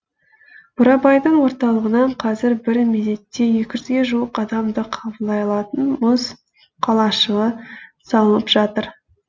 бурабайдың орталығынан қазір бір мезетте екі жүзге жуық адамды қабылдай алатын мұз қалашығы салынып жатыр